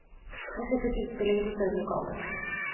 Nå flyttes utstillingen til større lokaler.